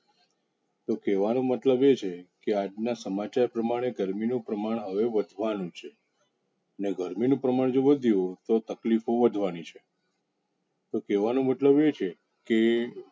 તો કેવાનો મતલબ એ છે. કે આજ ના સમાચાર પ્રમાણે ગરમી નુ પ્રમાણ હવે વધાવા નુ છે. અને ગરમી નુ પ્રમાણ જો વધ્યુ તો તકલીફો વધવાની. તો કેવાનો મતલબ એ છે.